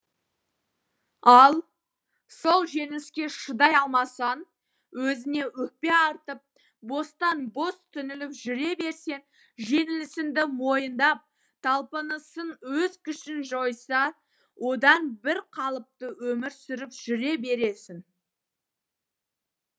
ал сол жеңіліске шыдай алмасаң өзіңе өкпе артып бостан бос түңіліп жүре берсең жеңілісіңді мойындап талпынысың өз күшін жойса одан бірқалыпты өмір сүріп жүре бересің